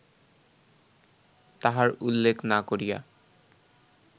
তাহার উল্লেখ না করিয়া